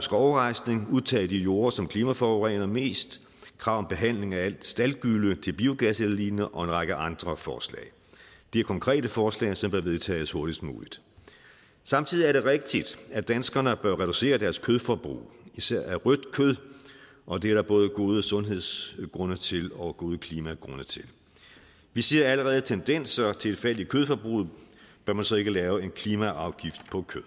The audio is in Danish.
skovrejsning at udtage de jorder som klimaforurener mest krav om behandling af alt staldgylle og en række andre forslag det er konkrete forslag som bør vedtages hurtigst muligt samtidig er det rigtigt at danskerne bør reducere deres kødforbrug især af rødt kød og det er der både gode sundhedsmæssige grunde til og gode klimagrunde til vi ser allerede tendenser til et fald i kødforbruget bør man så ikke lave en klimaafgift på kød